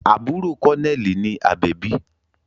Àbúrò kọ́nẹ́ẹ̀lì ni Àbẹ̀bí